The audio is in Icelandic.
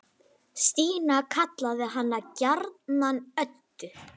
Stína kallaði hana gjarnan Öddu.